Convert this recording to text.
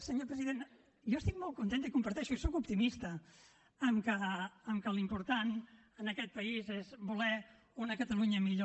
senyor president jo estic molt contenta i ho comparteixo jo sóc optimista que l’important en aquest país és voler una catalunya millor